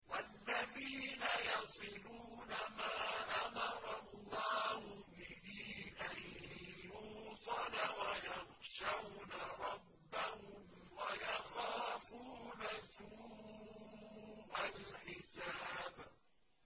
وَالَّذِينَ يَصِلُونَ مَا أَمَرَ اللَّهُ بِهِ أَن يُوصَلَ وَيَخْشَوْنَ رَبَّهُمْ وَيَخَافُونَ سُوءَ الْحِسَابِ